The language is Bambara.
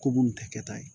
Ko munnu tɛ kɛ ta ye